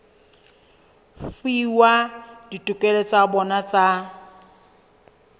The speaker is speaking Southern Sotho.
fuwa ditokelo tsa bona tsa